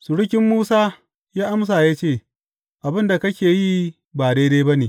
Surukin Musa ya amsa ya ce, Abin da kake yi ba daidai ba ne.